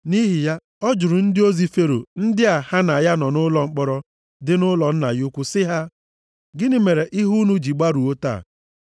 Nʼihi ya, ọ jụrụ ndị ozi Fero ndị a ha na ya nọ nʼụlọ mkpọrọ dị nʼụlọ nna ya ukwu sị ha, “Gịnị mere ihu unu ji gbarụọ taa?”